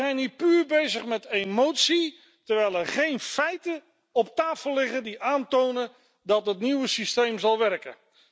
We zijn hier puur bezig met emotie, terwijl er geen feiten op tafel liggen die aantonen dat het nieuwe systeem zal werken.